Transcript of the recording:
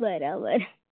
બરાબર